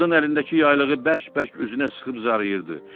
Qadın əlindəki yaylığı bərk-bərk üzünə sıxıb zarayırdı.